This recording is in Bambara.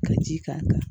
Ka ji k'a kan